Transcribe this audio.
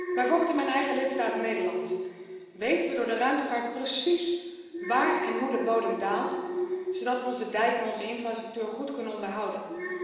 Bijvoorbeeld in mijn eigen lidstaat, Nederland, weten we door de ruimtevaart precies waar en hoe de bodem daalt, zodat we onze dijken en onze infrastructuur goed kunnen onderhouden.